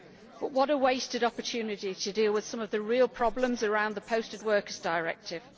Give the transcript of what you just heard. But what a wasted opportunity to deal with some of the real problems around the Posted Workers Directive.